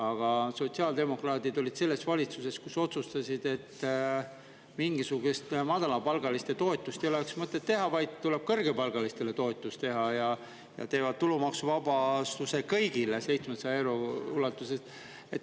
Aga sotsiaaldemokraadid olid selles valitsuses, kes otsustas, et mingisugust madalapalgaliste toetust ei ole mõtet teha, vaid tuleb teha kõrgepalgalistele toetus, ja nad teevad tulumaksuvabastuse kõigile 700 euro ulatuses.